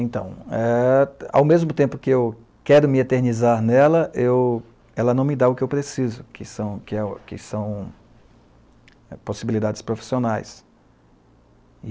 Então, eh, ao mesmo tempo que eu quero me eternizar nela, eu ela não me dá o que eu preciso, que é, que são possibilidades profissionais.